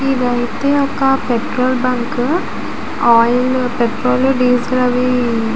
ఇదైతే ఒక petrol bunk . Oil petrol diesel అవి--